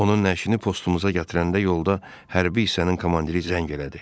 Onun nəşini postumuza gətirəndə yolda hərbi hissənin komandiri zəng elədi.